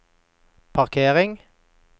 parkering